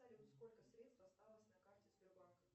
салют сколько средств осталось на карте сбербанка